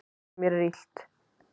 Mér er illt.